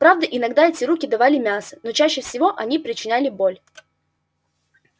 правда иногда эти руки давали мясо но чаще всего они причиняли боль